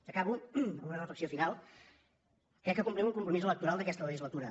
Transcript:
acabo amb una reflexió final crec que complim un compromís electoral d’aquesta legislatura